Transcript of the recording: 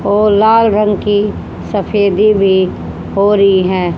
ओ लाल रंग की सफेदी भी हो रही है।